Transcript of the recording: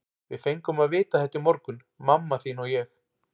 Við fengum að vita þetta í morgun, mamma þín og ég.